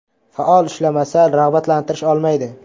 Faol ishlamasa, rag‘batlantirish olmaydi.